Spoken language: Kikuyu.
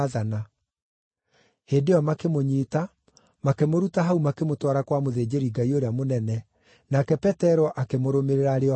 Hĩndĩ ĩyo makĩmũnyiita, makĩmũruta hau makĩmũtwara kwa mũthĩnjĩri-Ngai ũrĩa mũnene, nake Petero akĩmũrũmĩrĩra arĩ o haraaya.